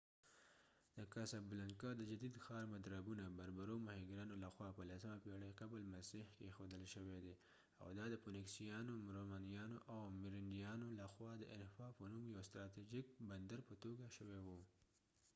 د کاسابلانکا د جدید ښار مدربونه بربرو ماهیګرانو لخوا په 10مه پېړۍ قبل مسیح کې اېښودل شوي دي او دا د فونیکسیانو رومنیانو او میریندیانو لخوا د انفا په نوم یوه ستراتیجیک بندر په توګه شوی و